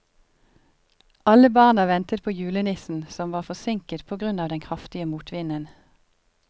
Alle barna ventet på julenissen, som var forsinket på grunn av den kraftige motvinden.